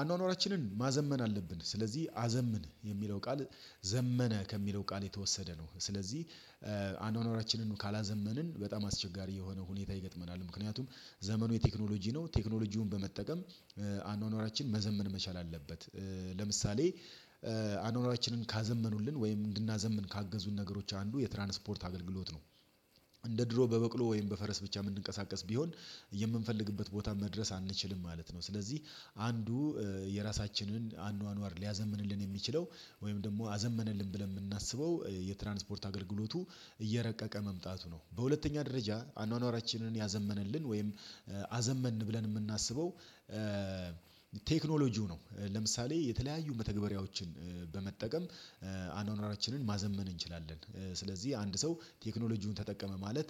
አኗኗራችንን ማዘመን አለብን። ስለዚህ አዘምን የሚለው ቃል ዘመነ ከሚለው ቃል የተወሰደ ነው። ስለዚህ አኗኗራችንን ካላዘመንን በጣም አስቸጋሪ የሆነ ሁኔታ ይገጥመናል ምክንያቱም ዘመኑ የቴክኖሎጂ ነው ቴክኖሎጂውን በመጠቀም አኗኗራችን መዘመን መቻል አለበት። ለምሳሌ አኗኗራችንን ካዘመኑልን ወይም እንድናዘምን ካገዙን ነገሮች አንዱ የትራንስፖርት አገልግሎት ነው። እንደ ድሮ በበቅሎ ወይም በፈረስ ብቻ እምንቀሳቀስ ቢሆን የምንፈልግበት ቦታ መድረስ አንችልም ማለት ነው። ስለዚህ አንዱ የራሳችንን አኗኗር ሊያዘምንልን የሚችለው ወይም ደግሞ አዘመነልን ብለን እምናስበው የትራንስፖርት አገልግሎቱ እየረቀቀ መምጣቱ ነው። በሁለተኛ ደረጃ አኗኗራችንን ያዘመነልን ወይም አዘመን ብለን እምናስበው ቴክኖሎጂው ነው። ለምሳሌ የተለያዩ መተግበሪያዎችን በመጠቀም አኗኗራችንን ማዘመን እንችላለን ስለዚህ አንድ ሰው ቴክኖሎጂውን ተጠቀመ ማለት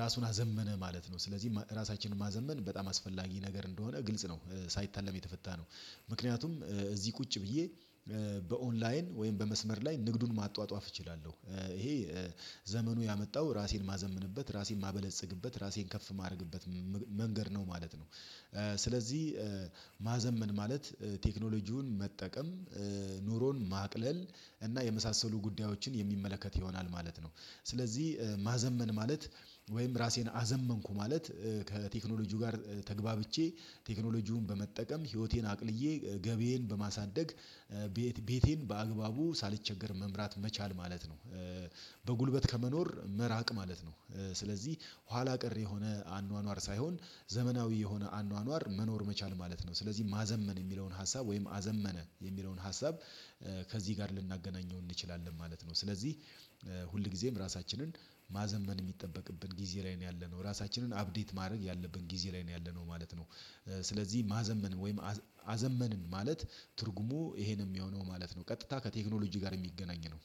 ራሱን አዘመነ ማለት ነው። ስለዚህ ራሳችንን ማዘመን በጣም አስፈላጊ ነገር እንደሆነ ግልጽ ነው ሳይታለም የተፈታ ነው። ምክንያቱም እዚህ ቁጭ ብዬ በኦንላይን ወይም በመስመር ላይ ንግዱን ማጧጧፍ እችላለሁ። ይሄ ዘመኑ ያመጣው ራሴን እማዘምንበት ራሴን እማበለጽግበት ራሴን ከፍ እማድረግበት መንገድ ነው ማለት ነው። ስለዚህ ማዘመን ማለት ቴክኖሎጂውን መጠቀም ኑሮን ማቅለል እና የመሳሰሉ ጉዳዮችን የሚመለከት ይሆናል ማለት ነው። ስለዚህ ማዘመን ማለት ወይም ራሴን አዘመንኩ ማለት ከቴክኖሎጂው ጋር ተግባብቼ ቴክኖሎጂውን በመጠቀም ህይወቴን አቅልዬ ገቢየን በማሳደግ ቤቴን በአግባቡ ሳልቸገር መምራት መቻል ማለት ነው። በጉልበት ከመኖር መራቅ ማለት ነው። ስለዚህ ኋላ ቀር የሆነ አኗኗር ሳይሆን ዘመናዊ የሆነ አኗኗር መኖር መቻል ማለት ነው። ስለዚህ ማዘመን የሚለውን ሀሳብ ወይም አዘመነ የሚለውን ሀሳብ ከዚህ ጋር ልናገናኘው እንችላለን ማለት ነው። ስለዚህ ሁል ጊዜም ራሳችንን ማዘመን የሚጠበቅብን ጊዜ ላይ ነው ያለነው ራሳችንን አፕዴት ማድረግ ያለብን ጊዜ ላይ ነው ያለነው ማለት ነው። ስለዚህ ማዘመን ወይም አዘመንን ማለት ትርጉሙ ይሄንም እሚሆነው ማለት ነው ቀጥታ ከቴክኖሎጂ ጋር የሚገናኝ ነው።